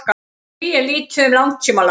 því er lítið um langtímalán